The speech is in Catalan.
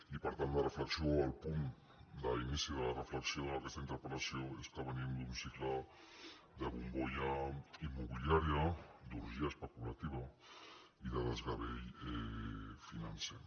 i per tant la reflexió o el punt d’ini·ci de la reflexió d’aquesta interpel·lació és que venim d’un cicle de bombolla immobiliària d’orgia especu·lativa i de desgavell financer